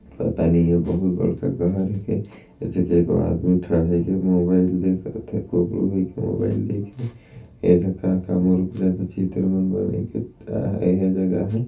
पता नहीं ए बहुत बड़का घर हे के ए जगह एको आदमी ठड़ाए के मोबाइल देखत हे कुबड़ू होइ के मोबाइल देखे ऐदे काका मोर ऊपर चित्र मन बनाई के ए ह जगह ह --